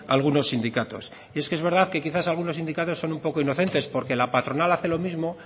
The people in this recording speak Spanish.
algunos sindicatos y es que es verdad que quizás algunos sindicatos son un poco inocentes porque la patronal hace lo mismo